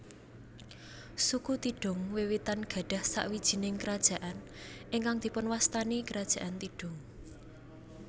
Suku Tidung wiwitan gadhah sawijining kerajaan ingkang dipunwastani Kerajaan Tidung